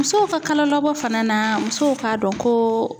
Musow ka kalo labɔ fana na musow k'a dɔn ko